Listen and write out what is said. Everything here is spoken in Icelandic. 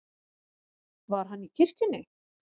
Var hann í kirkjunni?